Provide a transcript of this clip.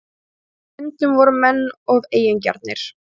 Á stundum voru menn of eigingjarnir